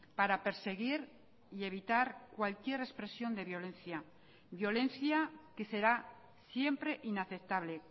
para perseguir y evitar cualquier expresión de violencia violencia que será siempre inaceptable